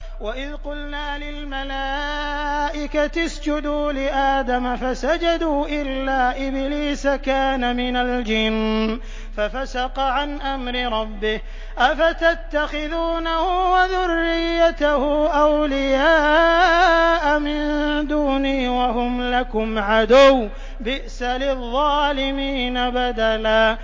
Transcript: وَإِذْ قُلْنَا لِلْمَلَائِكَةِ اسْجُدُوا لِآدَمَ فَسَجَدُوا إِلَّا إِبْلِيسَ كَانَ مِنَ الْجِنِّ فَفَسَقَ عَنْ أَمْرِ رَبِّهِ ۗ أَفَتَتَّخِذُونَهُ وَذُرِّيَّتَهُ أَوْلِيَاءَ مِن دُونِي وَهُمْ لَكُمْ عَدُوٌّ ۚ بِئْسَ لِلظَّالِمِينَ بَدَلًا